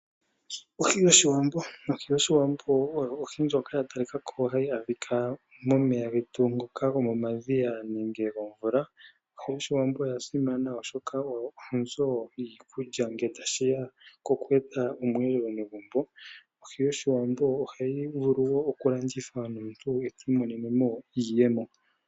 Ohi yOshiwambo Ohi yOshiwambo oyo ohi ndjoka hayi adhika momeya getu ngoka gomomadhiya nenge gomvula. Ohi yOshiwambo oya simana, oshoka oyo onzo yiikulya ngele tashi ya pokueta omweelelo megumbo. Ohayi vulu wo okulandithwa omuntu ti imonene mo iiyemo.